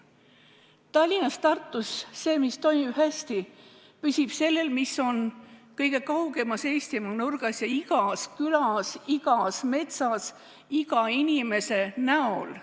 See, mis Tallinnas ja Tartus toimib hästi, püsib sellel, mis on kõige kaugemas Eestimaa nurgas ja igas külas, igas metsas, iga inimese kujul.